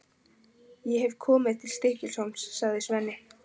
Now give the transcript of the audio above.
Ég hef komið til Stykkishólms, sagði Svenni.